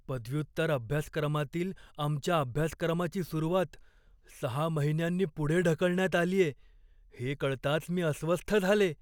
पदव्युत्तर अभ्यासक्रमातील आमच्या अभ्यासक्रमाची सुरुवात सहा महिन्यांनी पुढे ढकलण्यात आलीये हे कळताच मी अस्वस्थ झाले.